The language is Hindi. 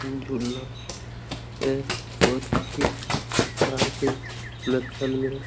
झूलना है और शीश --